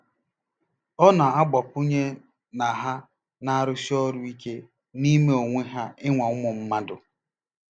Ọ na-agbakwụnye na ha na-arụsi ọrụ ike n'ime onwe ha ịnwa ụmụ mmadụ.